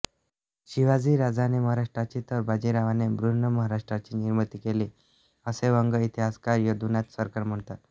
शिवाजी राजाने महाराष्ट्राची तर बाजीरावाने बृहन्महाराष्ट्राची निर्मिती केली असे वंग इतिहासकार यदुनाथ सरकार म्हणतात